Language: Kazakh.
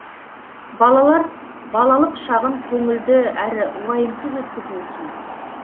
балалар балалық шағын көңілді әрі уайымсыз өткізуі тиіс